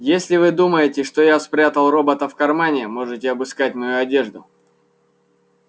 если вы думаете что я спрятал робота в кармане можете обыскать мою одежду